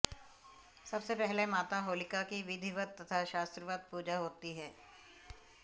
सबसे पहले माता होलिका की विधिवत तथा शास्त्रवत पूजा होती है